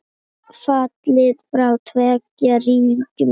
Fallið frá tveggja ríkja lausn?